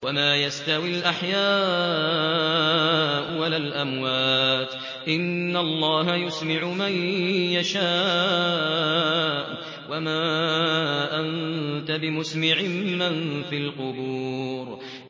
وَمَا يَسْتَوِي الْأَحْيَاءُ وَلَا الْأَمْوَاتُ ۚ إِنَّ اللَّهَ يُسْمِعُ مَن يَشَاءُ ۖ وَمَا أَنتَ بِمُسْمِعٍ مَّن فِي الْقُبُورِ